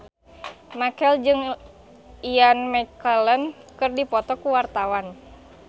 Marchell jeung Ian McKellen keur dipoto ku wartawan